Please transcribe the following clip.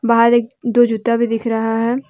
बाहर एक दो जूता भी दिख रहा है।